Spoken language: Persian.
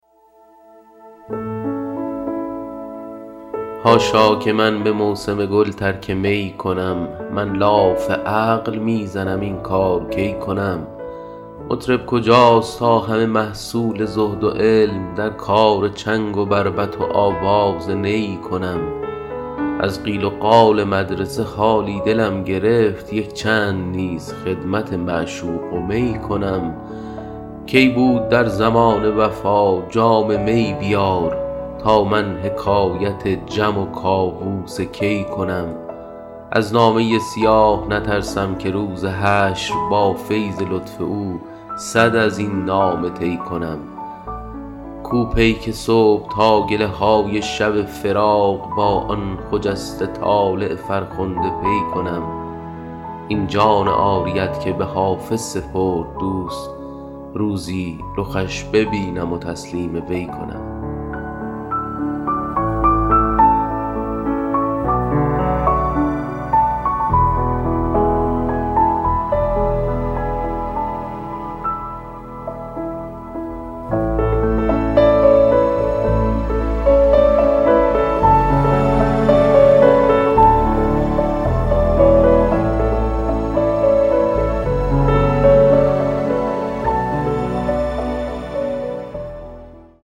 حاشا که من به موسم گل ترک می کنم من لاف عقل می زنم این کار کی کنم مطرب کجاست تا همه محصول زهد و علم در کار چنگ و بربط و آواز نی کنم از قیل و قال مدرسه حالی دلم گرفت یک چند نیز خدمت معشوق و می کنم کی بود در زمانه وفا جام می بیار تا من حکایت جم و کاووس کی کنم از نامه سیاه نترسم که روز حشر با فیض لطف او صد از این نامه طی کنم کو پیک صبح تا گله های شب فراق با آن خجسته طالع فرخنده پی کنم این جان عاریت که به حافظ سپرد دوست روزی رخش ببینم و تسلیم وی کنم